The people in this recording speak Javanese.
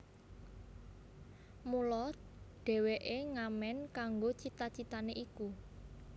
Mula dheweke ngamen kanggo cita citane iku